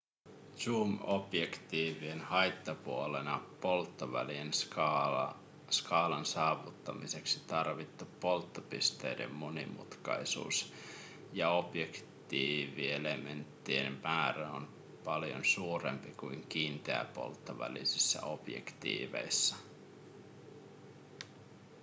zoom-objektiivien haittapuolena polttovälien skaalan saavuttamiseksi tarvittu polttopisteiden monimutkaisuus ja objektiivielementtien määrä on paljon suurempi kuin kiinteäpolttovälisissä objektiiveissa